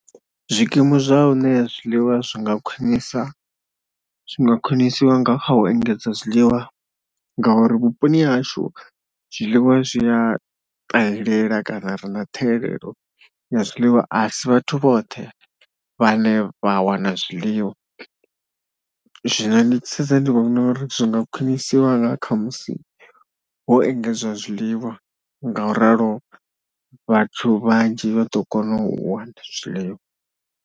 Zwikimu zwa hune zwiḽiwa zwi nga khwinisa, zwi nga khwinisiwa nga kha u engedza zwiḽiwa ngauri vhuponi hashu zwiḽiwa zwi a ṱahelwla kana ri na ṱhahelelo ya zwiḽiwa. A si vhathu vhoṱhe vhane vha wana zwiḽiwa, zwino ndi tshi sedza ndi vhona uri zwi nga khwinisiwa dzhiwa nga kha musi ho engedzwa zwiḽiwa ngauralo vhathu vhanzhi vha ḓo kona u wana zwiḽiwa.